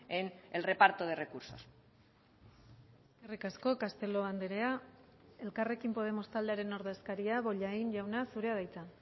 en el reparto de recursos eskerrik asko castelo andrea elkarrekin podemos taldearen ordezkaria bollain jauna zurea da hitza